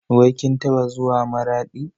Wai kin taɓa zuwa Maraɗi?